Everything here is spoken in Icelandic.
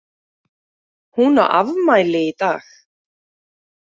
Hún á afmæli í dag.